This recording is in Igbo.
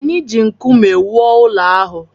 Anyị ji nkume wuo ụlọ ahụ